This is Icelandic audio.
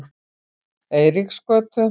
Eiríksgötu